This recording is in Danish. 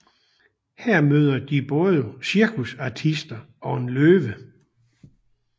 Her møder de både cirkusartister og en løve